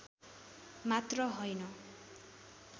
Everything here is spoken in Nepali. मात्र हैन